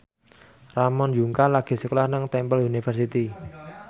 Ramon Yungka lagi sekolah nang Temple University